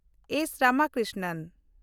S. Ramakrishnan